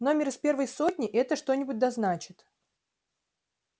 номер из первой сотни это что-нибудь да значит